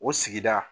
O sigida